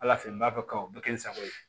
Ala fɛ yen n b'a fɔ o bɛ kɛ n sago ye